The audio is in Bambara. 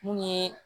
Mun ye